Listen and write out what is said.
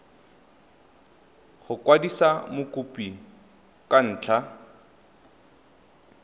go kwadisa mokopi ka ntlha